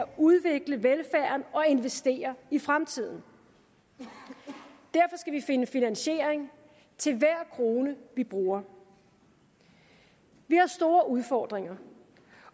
udvikle velfærden og investere i fremtiden derfor skal vi finde finansiering til hver krone vi bruger vi har store udfordringer